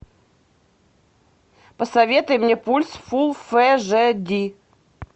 посоветуй мне пульс фул фэ жэ ди